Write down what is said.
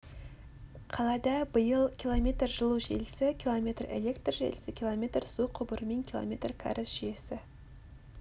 қалада биыл км жылу желісі км электр желісі км су құбыры мен км кәріз жүйесі